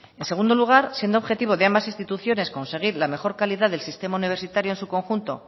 en segundo lugar siendo objetivo de ambas instituciones conseguir la mejor calidad del sistema universitario en su conjunto